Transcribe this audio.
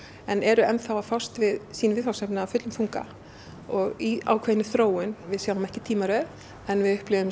en eru enn að fást við sýn viðfangsefni af fullum þunga og í ákveðinni þróun við sjáum ekki tímaröð en við upplifum